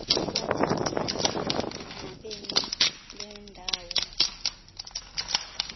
bathethane nabemi bendawo